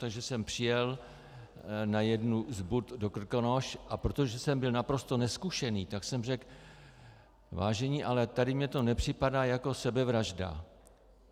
Takže jsem přijel na jednu z bud do Krkonoš, a protože jsem byl naprosto nezkušený, tak jsem řekl vážení, ale tady mně to nepřipadá jako sebevražda.